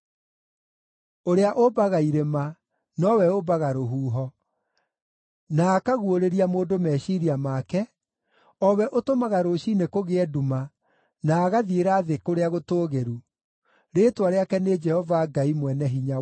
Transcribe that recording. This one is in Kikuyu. Ũrĩa ũmbaga irĩma nowe ũmbaga rũhuho, na akaguũrĩria mũndũ meciiria make, o we ũtũmaga rũciinĩ kũgĩe nduma, na agathiĩra thĩ kũrĩa gũtũũgĩru, rĩĩtwa rĩake nĩ Jehova Ngai Mwene-Hinya-Wothe.